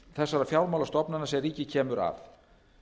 þessara fjármálastofnana sem ríkið kemur að